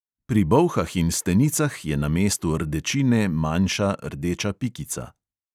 Pri bolhah in stenicah je na mestu rdečine manjša rdeča pikica.